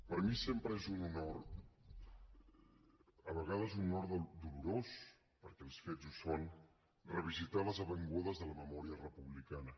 per mi sempre és un honor a vegades un honor dolorós perquè els fets ho són revisitar les avingudes de la memòria republicana